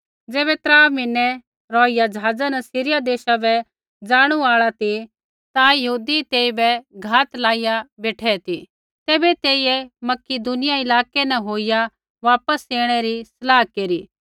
ज़ैबै त्रा म्हीनै रौहिया ज़हाज़ा न सीरिया देशा बै ज़ाणू आल़ा ती ता यहूदी तेइबै घात लाइया बेठै ती तैबै तेइयै मकिदुनिया इलाकै न होईया वापस ऐणै री सलाह केरी